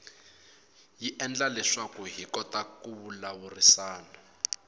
yi endla leswaku hi kota ku vulavurisana